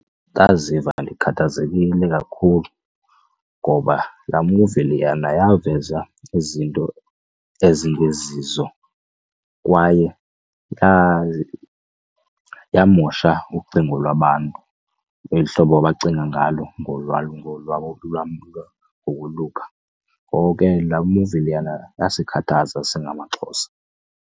Ndaziva ndikhathazekile kakhulu ngoba laa muvi leyana yaveza izinto ezingezizo kwaye yamosha ucingo lwabantu eli hlobo bacinga ngalo ngokoluka ngoko ke laa muvi leyana yasikhathaza singamaXhosa.